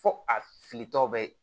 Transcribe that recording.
Fo a filitɔ bɛ